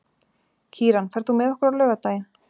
Kíran, ferð þú með okkur á laugardaginn?